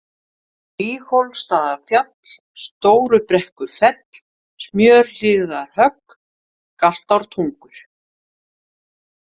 Víghólsstaðafjall, Stórubrekkufell, Smjörhlíðarhögg, Galtártungur